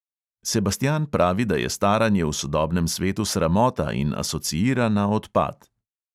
Sebastijan pravi, da je staranje v sodobnem svetu sramota in asociira na odpad.